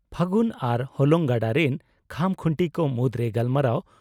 ᱯᱷᱟᱹᱜᱩᱱ ᱟᱨ ᱦᱚᱞᱚᱝ ᱜᱟᱰᱟ ᱨᱤᱱ ᱠᱷᱟᱢᱠᱷᱩᱱᱴᱤ ᱠᱚ ᱢᱩᱫᱽᱨᱮ ᱜᱟᱞᱢᱟᱨᱟᱣ